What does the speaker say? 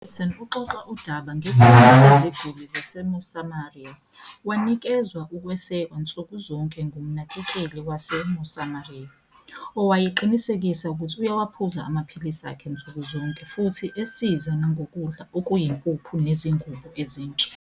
U-Harrison uxoxa udaba ngesinye seziguli zase-Mosamaria. Wanikezwa ukwesekwa nsuku zonke ngumnakekeli wase-Mosamaria, owayeqinisekisa ukuthi uyawaphuza amaphilisi akhe nsuku zonke futhi esiza nangokudla okuyimpuphu nezingubo ezintsha.